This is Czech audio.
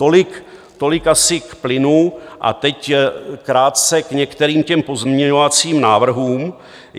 Tolik asi k plynu a teď krátce k některým těm pozměňovacím návrhům.